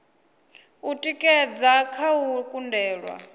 u tikedza kha u kundelwa